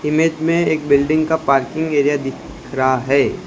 Image में एक building का पार्किंग एरिया दिख रहा है।